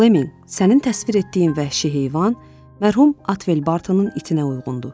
Fleminq, sənin təsvir etdiyin vəhşi heyvan mərhum Atvel Bartonun itınə uyğundur.